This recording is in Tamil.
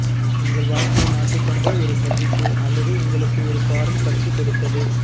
உங்கள் வாழ்க்கையை மாற்றிக்கொண்ட ஒரு சந்திப்பு அல்லது உங்களுக்கு ஒரு பாடம் கற்றுக் கொடுத்தது